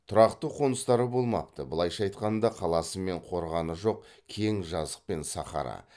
тұрақты қоныстары болмапты былайша айтқанда қаласы мен қорғаны жоқ кең жазық пен сахара